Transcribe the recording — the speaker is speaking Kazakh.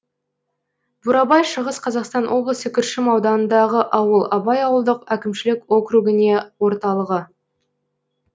бурабай шығыс қазақстан облысы күршім ауданындағы ауыл абай ауылдық әкімшілік округіне орталығы